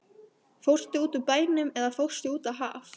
Fórstu út úr bænum eða fórstu út á haf?